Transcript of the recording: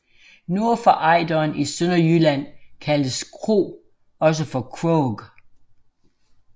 Nord for Ejderen i Sønderjylland kaldes kro også for krog